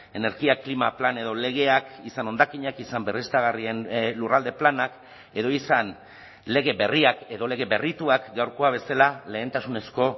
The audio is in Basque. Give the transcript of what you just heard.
energia klima plan edo legeak izan hondakinak izan berriztagarrien lurralde planak edo izan lege berriak edo lege berrituak gaurkoa bezala lehentasunezko